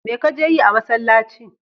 Me ka je yi a masallci?